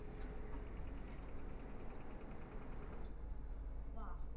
Af illum brunni kemur óhreint vatn.